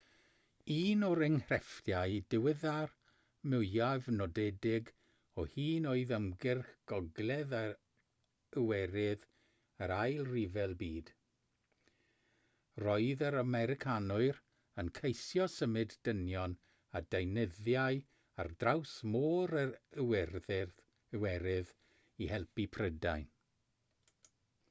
un o'r enghreifftiau diweddar mwyaf nodedig o hyn oedd ymgyrch gogledd yr iwerydd yr ail ryfel byd roedd yr americanwyr yn ceisio symud dynion a deunyddiau ar draws môr yr iwerydd i helpu prydain